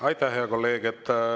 Aitäh, hea kolleeg!